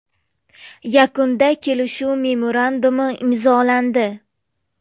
Yakunda kelishuv memorandumi imzolandi.